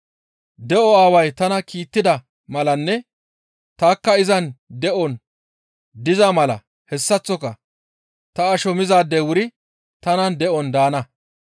De7o Aaway tana kiittida malanne tanikka izan de7on diza mala hessaththoka ta asho mizaadey wuri tanan de7on daana.